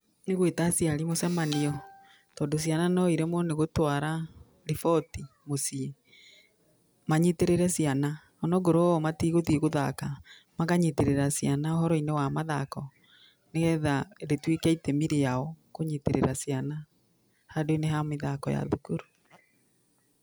Nĩ gwĩta aciari mũcamanio tondũ ciana no iremwo nĩ gũtwara riboti mũciĩ, manyitĩrĩre ciana o na akorwo o matigũthiĩ gũthaka, makanyitĩrĩra ciana uhoro-inĩ wa mathako nĩ getha rĩtuĩke itemi rĩao kũnyitĩrĩra ciana handũ-inĩ ha mĩthako ya thukuru.